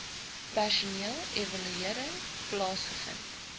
personeel evaluering plaasgevind